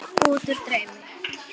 Útúr draumi.